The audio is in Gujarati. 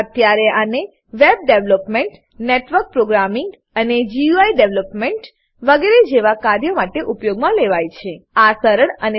અત્યારે આને web development network programming GUI development web development network programming GUI development વગેરે જેવા કાર્યો માટે ઉપયોગમાં લેવાય છે